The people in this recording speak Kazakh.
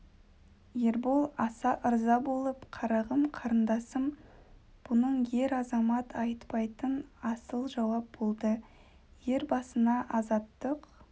ербол аса ырза болып қарағым қарындасым бұның ер азамат айтпайтын асыл жауап болды ер басына азаттық